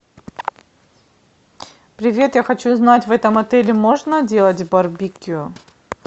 привет я хочу узнать в этом отеле можно делать барбекю